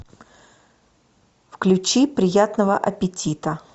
включи приятного аппетита